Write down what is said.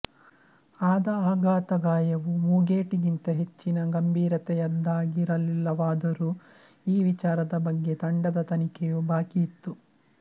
ಆದ ಆಘಾತಗಾಯವು ಮೂಗೇಟಿಗಿಂತ ಹೆಚ್ಚಿನ ಗಂಭೀರತೆಯದ್ದಾಗಿರಲಿಲ್ಲವಾದರೂ ಈ ವಿಚಾರದ ಬಗ್ಗೆ ತಂಡದ ತನಿಖೆಯು ಬಾಕಿ ಇತ್ತು